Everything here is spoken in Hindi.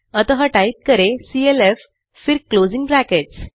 अतः टाइप करें सीएलएफ फिर क्लोजिंग ब्रैकेट्स